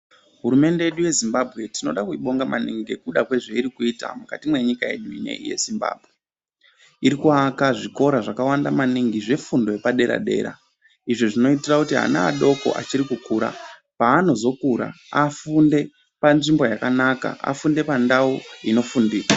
Hurumende yedu yeZimbabwe tinoda kuibonga maningi ngekuda kwezveiri kuita mukati menyika yedu inoyi yeZimbabwe irikuaka zvikora zvakawanda maningi zvefundo yepadera dera izvo zvinoitira kuti ana adoko achiri kukura paanozokura afunde panzvimbo yakanaka afunde pandau inofundika.